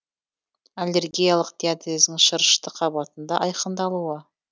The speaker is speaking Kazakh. аллергиялық диатездің шырышты қабатында айқындалуы